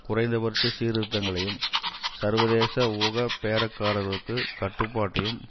குறைந்தபட்ச சீர்திருத்தங்களையும் சர்வதேச ஊக பேரக்காரர்களுக்கு கட்டுப்பாட்டையும்